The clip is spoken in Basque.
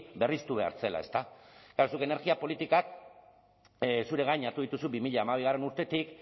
berriztu behar zela ezta klaro zuk energia politikak zure gain hartu dituzu bi mila hamabigarrena urtetik